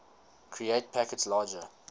create packets larger